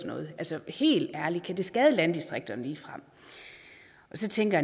noget altså helt ærligt kan det ligefrem skade landdistrikterne og så tænker